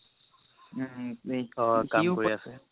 অ' কাম কৰি আছে